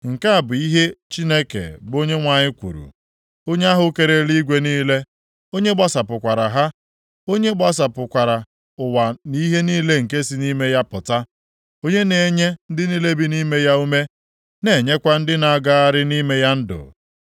Nke a bụ ihe Chineke bụ Onyenwe anyị kwuru, onye ahụ kere eluigwe niile, onye gbasapụkwara ha, onye gbasapụkwara ụwa nʼihe niile nke si nʼime ya apụta, onye na-enye ndị niile bi nʼime ya ume, na-enyekwa ndị na-agagharị nʼime ya ndụ.